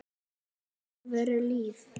Þetta var alvöru líf.